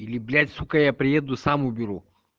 или блять сука я приеду сам уберу